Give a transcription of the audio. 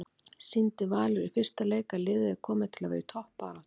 Sýndi Valur í fyrsta leik að liðið er komið til að vera í toppbaráttu?